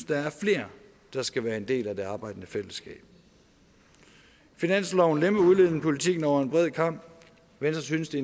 der er flere der skal være en del af det arbejdende fællesskab finansloven lemper udlændingepolitikken over en bred kam venstre synes det